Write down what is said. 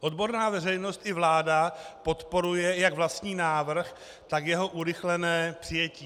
Odborná veřejnost i vláda podporuje jak vlastní návrh, tak jeho urychlené přijetí.